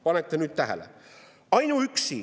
Pange nüüd tähele!